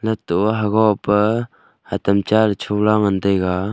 lato aa hago pa hatam cha la chola ngan taiga.